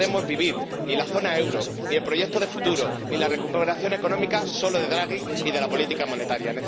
No podemos vivir ―ni la zona del euro ni el proyecto de futuro ni la recuperación económica― solo de Draghi y de la política monetaria.